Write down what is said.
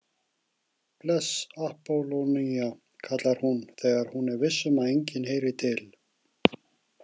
Bless Appólónía, kallar hún þegar hún er viss um að enginn heyri til.